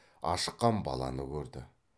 ашыққан баланы көрді